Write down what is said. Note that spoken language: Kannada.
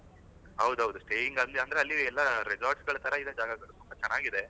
ಹೌದ್ ಹೌದು staying ಅಲ್ಲಿ ಅಂದ್ರೆ ಅಲ್ಲಿ ಎಲ್ಲ resorts ತರ ಇದೆ ಅಲ್ಲಿ ಎಲ್ಲ ಜಾಗಗಳು ತುಂಬಾ ಚನ್ನಾಗಿದೆ